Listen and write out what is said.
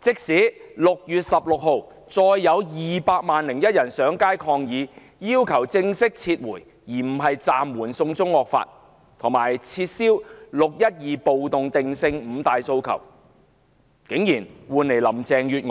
即使6月16日再有 "200 萬 +1" 人上街抗議，提出正式撤回而不是暫緩"送中惡法"，以及撤銷"六一二"暴動定性等"五大訴求"，林鄭月娥也只是作出既